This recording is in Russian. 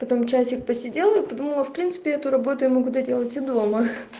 потом часик посидела и подумала в принципе эту работу я могу доделать и дома